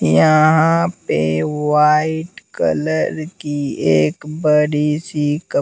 यहाँ पे white colour की एक बड़ी सी कप--